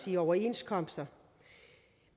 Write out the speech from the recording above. i overenskomster